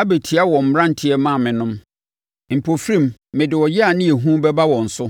abɛtia wɔn mmeranteɛ maamenom; mpofirim mede ɔyea ne ehu bɛba wɔn so.